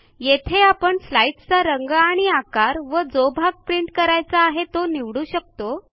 येथे आपण स्लाईडचा रंग आणि आकार व जो भाग प्रिंट करायचा आहे तो निवडू शकतो